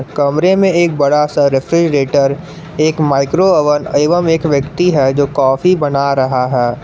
कमरे में एक बड़ा सा रेफ्रिजरेटर एक माइक्रो ओवन एवं एक व्यक्ति है जो कॉफी बना रहा है।